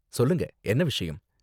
சொல்லுங்க, என்ன விஷயம்.